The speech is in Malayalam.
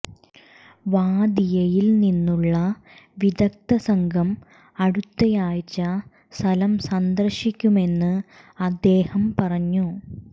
വാദിയയിൽ നിന്നുള്ള വിദഗ്ധ സംഘം അടുത്തയാഴ്ച സ്ഥലം സന്ദർശിക്കുമെന്ന് അദ്ദേഹം പറഞ്ഞു